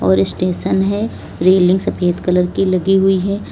और ये स्टेशन है रेलिंग सफेद कलर की लगी हुई है।